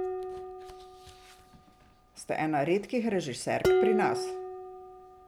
Ste ena redkih režiserk pri nas.